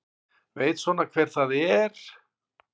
Veit svona hver það er.